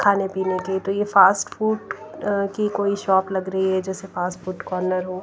खाने पीने के तो ये फास्ट फूड की कोई शॉप लग रही है जैसे फास्ट फूड कॉर्नर हो।